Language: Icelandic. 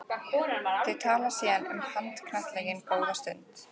Þau tala síðan um handknattleik góða stund.